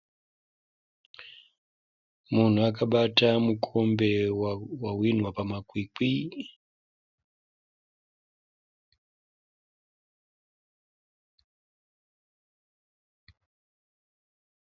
Munhu akabata mukombe wahwinwa pamakwikwi.